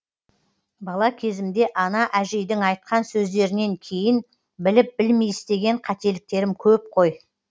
бала кезімде ана әжейдің айтқан сөздерінен кейін біліп білмей істеген қателіктерім көп қой